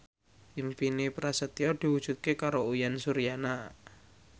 impine Prasetyo diwujudke karo Uyan Suryana